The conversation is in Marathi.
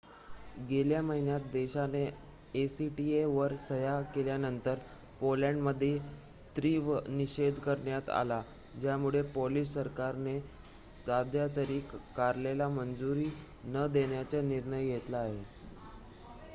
गेल्या महिन्यात देशाने acta वर सह्या केल्यानंतर पोलंडमध्ये तीव्र निषेध करण्यात आला ज्यामुळे पोलिश सरकारने सध्यातरी कराराला मंजुरी न देण्याचा निर्णय घेतला आहे